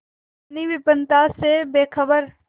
अपनी विपन्नता से बेखबर